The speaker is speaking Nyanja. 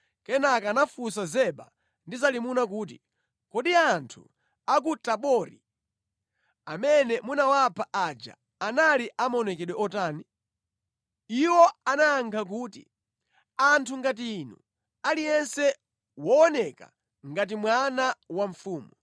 Kenaka anafunsa Zeba ndi Zalimuna kuti, “Kodi anthu a ku Tabori amene munawapha aja anali a maonekedwe otani?” Iwo anayankha kuti, “Anali anthu a maonekedwe ngati inu. Aliyense ankaoneka ngati mwana wa mfumu?” Iwo anayankha kuti, “Anthu ngati inu, aliyense wooneka ngati mwana wa mfumu.”